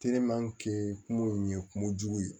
kungo in ye kungojugu ye